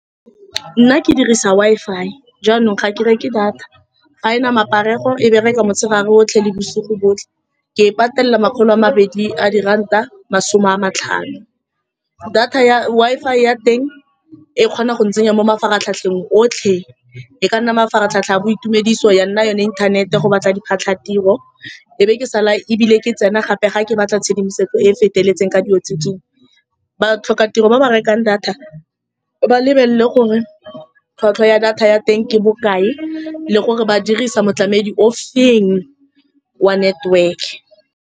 Nna ke dirisa Wi-Fi. Jaanong ga ke re ke data, ga e na maparego. E bereka motshegare otlhe le bosigo botlhe. Ke e patelela makgolo a mabedi a diranta masome a matlhano. Data ya Wi-Fi ya teng e kgona go ntsenya mo mafaratlhatlheng otlhe. E ka nna mafaratlhatlha a boitumediso, ya nna yone inthanete go batla diphatlha tiro, e be ke sala, ebile ke tsena gape fa ke batla tshedimosetso e feteletseng ka dilo tse . Ba tlhoka tiro, ba ba rekang data ba lebelele gore tlhwatlhwa ya data ya teng ke bokae le gore ba dirisa motlamedi o feng wa network-e.